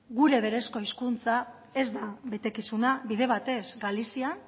gure berezko hezkuntza ez da betekizuna bide batez galizian